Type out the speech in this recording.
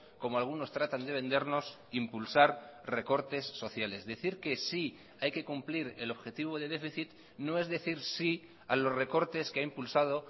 como algunos tratan de vendernos impulsar recortes sociales decir que sí hay que cumplir el objetivo de déficit no es decir sí a los recortes que ha impulsado